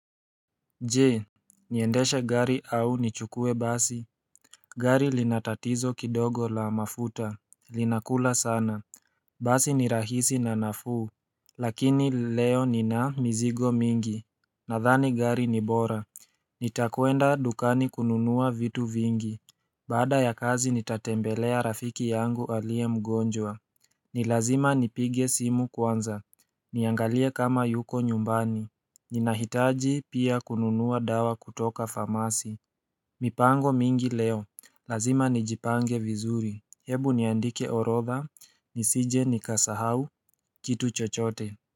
Je niendeshe gari au nichukue basi gari linatatizo kidogo la mafuta Linakula sana Basi ni rahisi na nafuu Lakini leo nina mizigo mingi Nadhani gari ni bora Nitakwenda dukani kununua vitu vingi Baada ya kazi nitatembelea rafiki yangu aliye mgonjwa ni lazima nipige simu kwanza Niangalie kama yuko nyumbani Ninahitaji pia kununua dawa kutoka famasi mipango mingi leo, lazima nijipange vizuri, hebu niandike orodha, nisije nikasahau, kitu chochote.